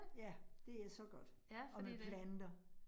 Ja, det er så godt, og med planter